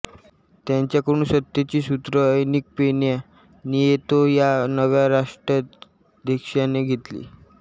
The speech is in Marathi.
त्यांच्याकडून सत्तेची सुत्रे एन्रिक पेन्या नियेतो ह्या नव्या राष्ट्राध्यक्षाने घेतली